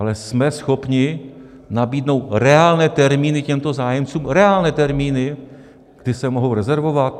Ale jsme schopni nabídnout reálné termíny těmto zájemcům, reálné termíny, kdy se mohou rezervovat?